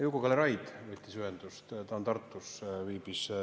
Juku-Kalle Raid võttis ühendust, ta viibib Tartus.